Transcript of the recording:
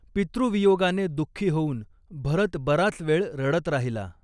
पितृवियोगाने दुःखी होऊन भरत बराच वेळ रडत राहिला.